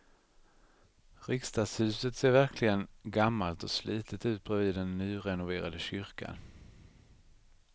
Riksdagshuset ser verkligen gammalt och slitet ut bredvid den nyrenoverade kyrkan.